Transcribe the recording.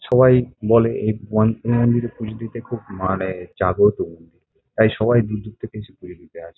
সবাই বলে এই পুজো দিতে খুব মানে জাগ্রত মন্দির তাই সবাই দূর দূর থেকে এসে পুজো দিতে আসে।